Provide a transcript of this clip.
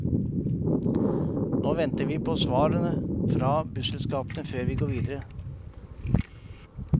Nå venter vi på svar fra busselskapene før vi går videre.